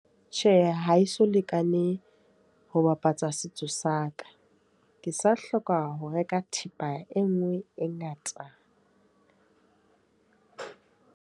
Tjhe, ha eso lekane ho bapatsa setso sa ka. Ke sa hloka ho reka thepa e nngwe e ngata.